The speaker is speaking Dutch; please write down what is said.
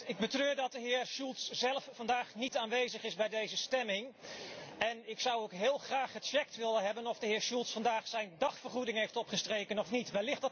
Ik betreur dat de heer Schulz zelf vandaag niet aanwezig is bij deze stemming en ik zou ook heel graag gecheckt willen hebben of de heer Schulz vandaag zijn dagvergoeding heeft opgestreken of niet.